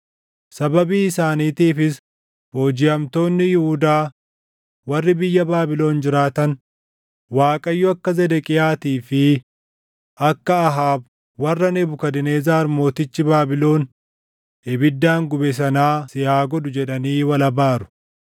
Sababii isaaniitiifis boojiʼamtoonni Yihuudaa warri biyya Baabilon jiraatan, ‘ Waaqayyo akka Zedeqiyaatii fi akka Ahaab warra Nebukadnezar mootichi Baabilon ibiddaan gube sanaa si haa godhu!’ jedhanii wal abaaru.